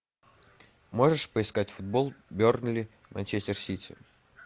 можешь поискать футбол бернли манчестер сити